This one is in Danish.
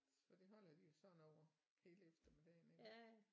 Så det holder de jo sådan over hele eftermiddagen iggå